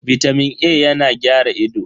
Bitamin A yana gyara ido.